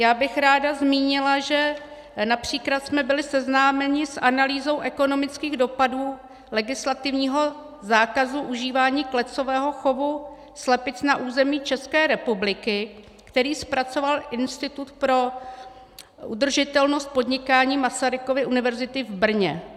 Já bych ráda zmínila, že například jsme byli seznámeni s analýzou ekonomických dopadů legislativního zákazu užívání klecového chovu slepic na území České republiky, který zpracoval Institut pro udržitelnost podnikání Masarykovy univerzity v Brně.